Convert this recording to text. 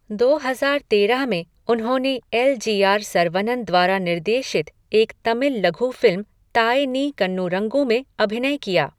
दो हजार तेरह में उन्होंने एल जी आर सरवनन द्वारा निर्देशित एक तमिल लघु फिल्म ताये नी कन्नुरंगु में अभिनय किया।